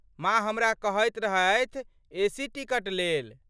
माँ हमरा कहैत रहथि एसी टिकट लेल।